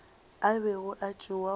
a bego a etšwa go